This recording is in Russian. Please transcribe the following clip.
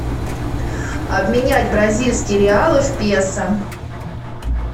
обменять бразильские реалы в песо